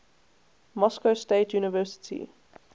moscow state university